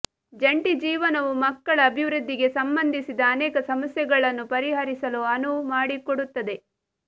ಜಂಟಿ ಜೀವನವು ಮಕ್ಕಳ ಅಭಿವೃದ್ಧಿಗೆ ಸಂಬಂಧಿಸಿದ ಅನೇಕ ಸಮಸ್ಯೆಗಳನ್ನು ಪರಿಹರಿಸಲು ಅನುವು ಮಾಡಿಕೊಡುತ್ತದೆ